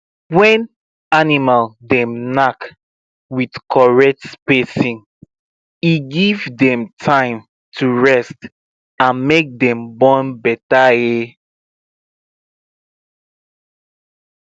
when animal dem knack with correct spacing e give dem time to rest and make dem born better um